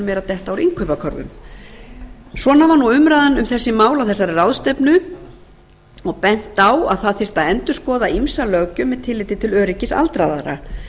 eru að detta úr innkaupakörfum svona var umræðan um þessi mál á þessasri ráðstefnu og bent á að það þarf að endurskoða ýmsa löggjöf með tilliti til öryggis aldraðra